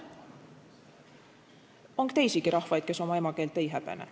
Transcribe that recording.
On teisigi rahvaid, kes oma emakeelt ei häbene.